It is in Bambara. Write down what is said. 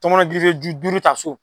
Tɔmɔnɔju gerefe duuru ta so.